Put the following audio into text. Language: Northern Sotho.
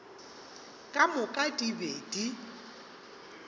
ka moka di be di